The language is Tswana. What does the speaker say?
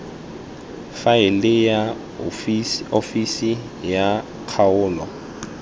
faele ya ofisi ya kgaolo